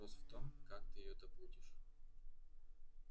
вопрос в том как ты её добудешь